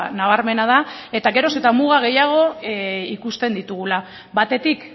nabarmena da eta geroz eta muga gehiago ikusten ditugula batetik